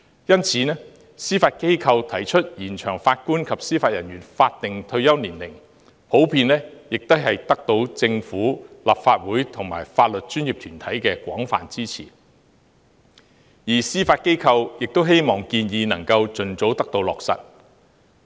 因此，司法機構提出延長法官及司法人員法定退休年齡，獲得政府、立法會和法律專業團體的廣泛支持，而司法機構也希望有關建議能夠盡早落實。